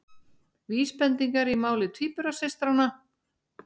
Vísbendingar í máli tvíburasystranna